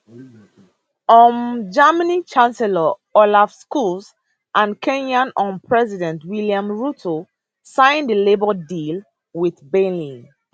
um germany chancellor olaf scholz and kenya um president william ruto sign di labour deal with berlin